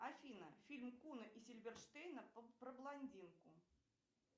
афина фильм куна и сильверштейна про блондинку